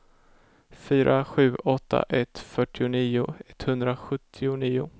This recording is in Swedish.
fyra sju åtta ett fyrtionio etthundrasjuttionio